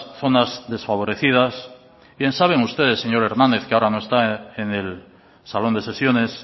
zonas desfavorecidas bien saben ustedes señor hernández que ahora no está en el salón de sesiones